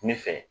Ne fɛ